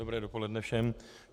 Dobré dopoledne všem.